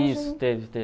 Isso, teve,